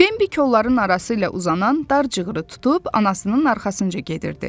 Bimbi kolların arası ilə uzanan dar cığırı tutub anasının arxasınca gedirdi.